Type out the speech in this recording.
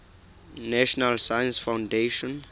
national science foundation